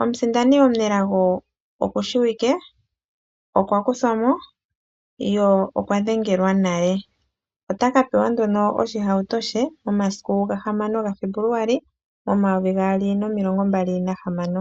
omusindani omunelago okushiwike, okwa kuthwa mo ye okwa dhengelwa nale. Ota ka pewa nduno oshihauto she momasiku 6 Febuluali 2026.